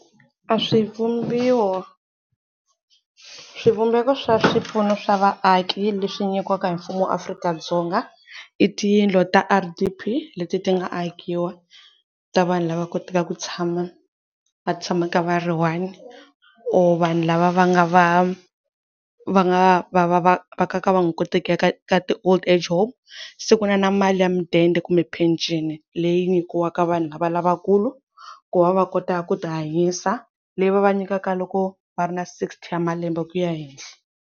A swi vumbiwa, swivumbeko swa swipfuno swa vaaki leswi nyikiwaka hi mfumo wa Afrika-Dzonga i tiyindlu ta R_D_P leti ti nga akiwa ta vanhu lava kotaka ku tshama va tshamaka va ri one or vanhu lava va nga va va nga va va va ka va nga koteki ku ya ka ti Old-Age home, se ku na na mali ya mudende kumbe phenceni leyi nyikiwaka vanhu lava lavakulu ku va va kota ku tihanyisa, leyi va va nyikaka loko va ri na sixty wa malembe ku ya henhla.